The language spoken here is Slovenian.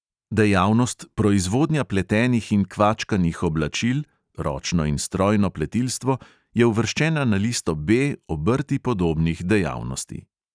Dejavnost proizvodnja pletenih in kvačkanih oblačil – ročno in strojno pletilstvo – je uvrščena na listo B obrti podobnih dejavnosti.